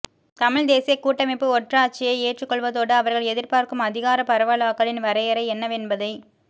தமிழ்த் தேசியக் கூட்டமைப்பு ஒற்றையாட்சியை ஏற்றுக்கொள்வதோடு அவர்கள் எதிர்பார்க்கும் அதிகாரப் பரவலாக்கலின் வரையறை என்னவென்பதை